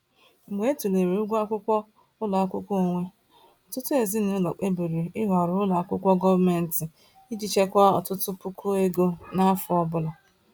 Mgbe a tụlere ụgwọ akwụkwọ ụlọ akwụkwọ onwe, ọtụtụ ezinụlọ kpebiri ịhọrọ ụlọ akwụkwọ gọọmenti iji chekwaa ọtụtụ puku ego n’afọ ọ bụla.